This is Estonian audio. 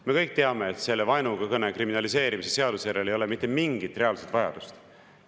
Me kõik teame, et vaenukõne kriminaliseerimise seaduse järele ei ole mitte mingit reaalset vajadust.